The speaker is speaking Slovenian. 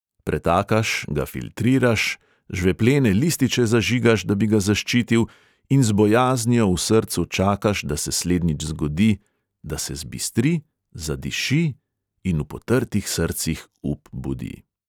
Pretakaš, ga filtriraš, žveplene lističe zažigaš, da bi ga zaščitil, in z bojaznijo v srcu čakaš, da se slednjič zgodi, da se zbistri, zadiši in v potrtih srcih up budi.